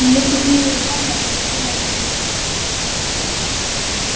её сухие рыдания постепенно затихли